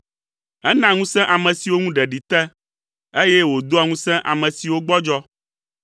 Ena ŋusẽ ame siwo ŋu ɖeɖi te, eye wòdoa ŋusẽ ame siwo gbɔdzɔ.